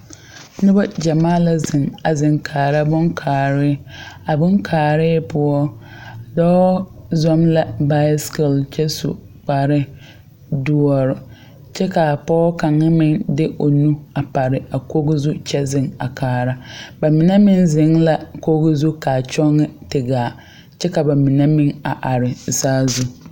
Noba gyamaa la zeŋ. A zeŋ kaara boŋ kaare. A boŋ kaare poʊ, dɔɔ zom la basekil kyɛ su kpare duor. Kyɛ ka pɔgɔ kanga meŋ de o nu a pare a koge zu kyɛ zeŋ a kaara. Ba mene meŋ zeŋ la koge zu kaa kyɔŋe te gaa kyɛ ka ba mene meŋ a are a saazu